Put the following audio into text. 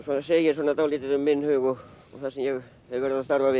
segir svona dálítið um minn hug og það sem ég hef verið að starfa við